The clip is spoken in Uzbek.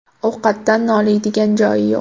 Ovqatdan noliydigan joyi yo‘q.